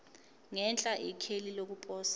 ngenhla ikheli lokuposa